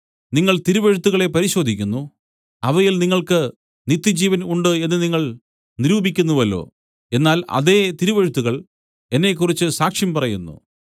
നിങ്ങൾ തിരുവെഴുത്തുകളെ പരിശോധിക്കുന്നു അവയിൽ നിങ്ങൾക്ക് നിത്യജീവൻ ഉണ്ട് എന്നു നിങ്ങൾ നിരൂപിക്കുന്നുവല്ലോ എന്നാൽ അതേ തിരുവെഴുത്തുകൾ എന്നെക്കുറിച്ച് സാക്ഷ്യം പറയുന്നു